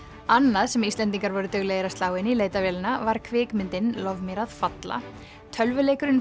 annað sem Íslendingar voru duglegir að slá inn í leitarvélina var kvikmyndin lof mér að falla tölvuleikurinn